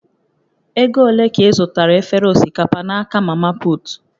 Ego ole ka ị zụtara efere osikapa n'aka mamaput?